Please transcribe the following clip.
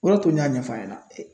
O de y'a to n ɲ'a ɲɛfɔ a ɲɛna.